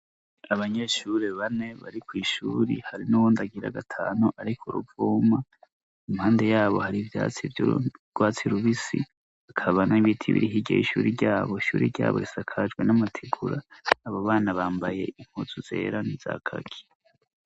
Abanyeshure bane bari kw' ishuri hari n'uwundi agira gatanu ari ku ruvuma. Impande yabo hari ivyatsi v'yurwatsi rubisi, hakaba n' ibiti biri hirya y'ishuri ryabo. Ishuri ryabo risakajwe n'amatigura. Abo bana bambaye impuzu zera n'iza kaki.